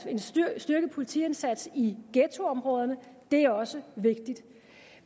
en styrket politiindsats i ghettoområderne det er også vigtigt